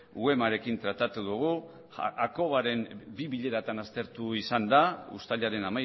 uemarekin tratatu dugu bi bileratan aztertu izan da uztailaren